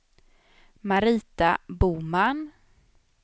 Marita Boman